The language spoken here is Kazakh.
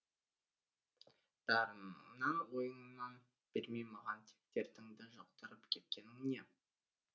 дарыныңнан ойыңнан бермей маған тек дертіңді жұқтырып кеткенің не